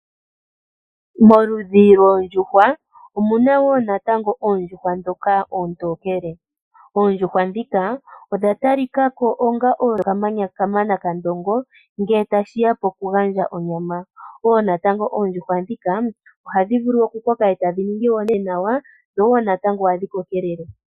Moludhi loondjuhwa omuna wo natango oondjuhwa dhoka oontokele. Oondjuhwa dhika odha talikako onga odho kamana kandongo ngele tashiya poku gandja onyama, wo natango oondjuhwa dhika ohadhi vulu oku koka eta dhi ningi enawa, dho wo natango ohadhi kokelele.